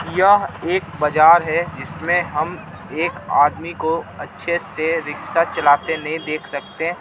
यह एक बजार है जिसमें हम एक आदमी को अच्छे से रिक्शा चलाते नहीं देख सकते.